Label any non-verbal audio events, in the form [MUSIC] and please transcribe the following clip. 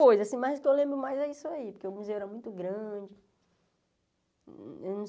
[UNINTELLIGIBLE] Mas o que eu lembro mais é isso aí, que o museu era muito grande.